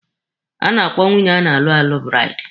A na-akpọ nwunye a na-alụ alụ buraidi.